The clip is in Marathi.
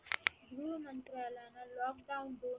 गृह मंत्रालयांना lockdown